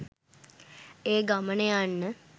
ඒ ගමන යන්න